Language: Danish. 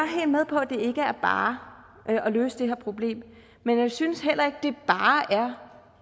helt med på at det ikke er bare at løse det her problem men jeg synes heller ikke